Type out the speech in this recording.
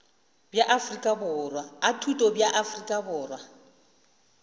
a thuto bja afrika borwa